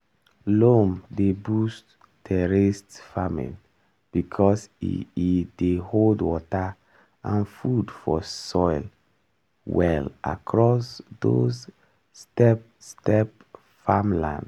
loam dey boost terraced farming because e e dey hold water and food for soil well across those step-step farmland.